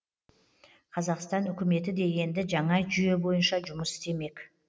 қазақстан үкіметі де енді жаңа жүйе бойынша жұмыс істемек